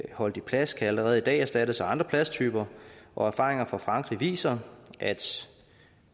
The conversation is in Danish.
indholdet i plast kan allerede i dag erstattes af andre plasttyper og erfaringer fra frankrig viser at